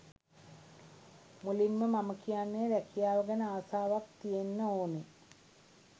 මුලින්ම මම කියන්නේ රැකියාව ගැන ආසාවක් තියෙන්න ඕන.